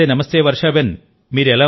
నమస్తేనమస్తే Varshaben